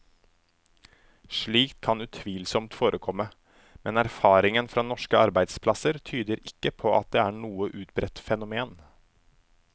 Slikt kan utvilsomt forekomme, men erfaringen fra norske arbeidsplasser tyder ikke på at det er noe utbredt fenomen.